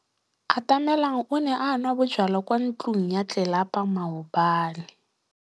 Atamelang o ne a nwa bojwala kwa ntlong ya tlelapa maobane.